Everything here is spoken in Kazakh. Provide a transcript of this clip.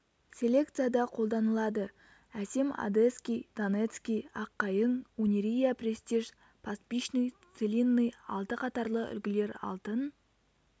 селекцияда қолданылады әсем одесский донецкий аққайың унирия престиж пастбищный целинный алты қатарлы үлгілер алтын